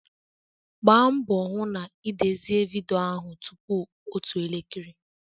Gbaa mbọ hụ na ị dezie vidiyo ahụ tupu otu elekere